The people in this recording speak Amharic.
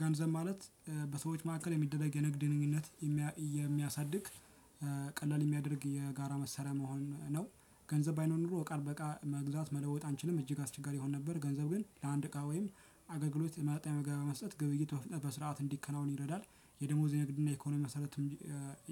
ገንዘብ ማለት በሰዎች መካከል የሚደረግ የንግድ ግንኙነት የሚያሳድግ ቀላል የሚያደርግ የጋራ መሳሪያ መሆኑ ነው። ገንዘብ ባይኖር ኖሮ እቃን በእቃ መግዛት መለወጥ አንችልም እጅግ አስቸጋሪ ይሆን ነበር። ገንዘብ ግን ለአንድ እቃ ወይም አገልግሎት ለማግኘት መገበያያ መስጠት ግብይት በፍጥነት በስርዓት እንዲከናወን ይረዳል። የደሞዝ የንግድ እና የኢኮኖሚ መሰረት